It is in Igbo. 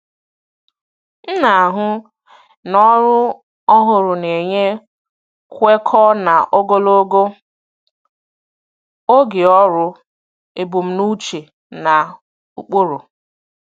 M na-ahụ na ọrụ ọhụrụ na-enye kwekọọ na ogologo oge ọrụ ebumnuche na ụkpụrụ.